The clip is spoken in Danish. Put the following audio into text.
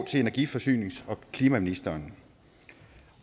til energi forsynings og klimaministeren